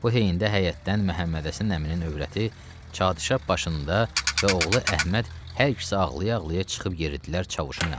Bu heyində həyətdən Məhəmmədhəsən əminin övrəti çadırşap başında və oğlu Əhməd hər ikisi ağlaya-ağlaya çıxıb yeridilər Çavuşun yanına.